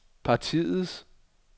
partiets